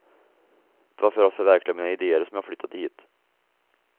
Det var för att förverkliga mina ideer som jag flyttade hit.